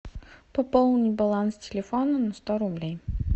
пополни баланс телефона на сто рублей